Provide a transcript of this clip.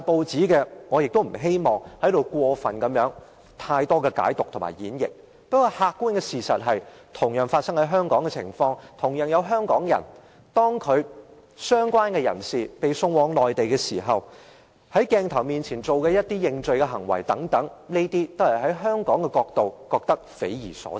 此事廣經報道，我也不想在此作太多解讀或演繹，但客觀的事實是，這事件同樣發生在香港，同樣涉及香港人，相關人士被送往內地，在鏡頭面前作出認罪等，這些從香港人的角度來看，是匪夷所思的。